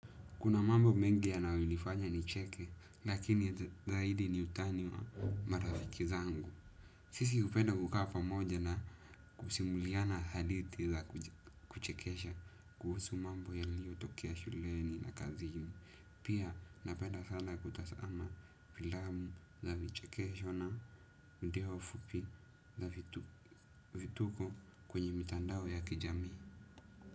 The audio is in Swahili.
Kuna mambo mengi yanayonifanya nicheke, lakini zaidi ni utani wa marafiki zangu. Sisi hupenda kukaa pamoja na kusimuliana hadithi za kuchekesha, kuhusu mambo yaliyotokea shuleni na kazini. Pia napenda sana kutazama filamu za vichekesho na video fupi za vituko kwenye mitandao ya kijamii.